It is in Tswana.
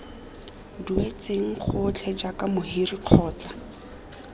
duetsweng gotlhe jaaka mohiri kgotsa